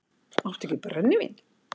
Áttu ekki brennivín?